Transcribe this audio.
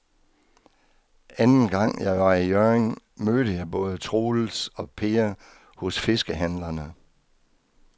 Anden gang jeg var i Hjørring, mødte jeg både Troels og Per hos fiskehandlerne.